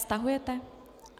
Stahujete?